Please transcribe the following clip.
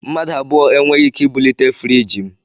Mmadụ abụọ e nweghị ike ibulite friiji m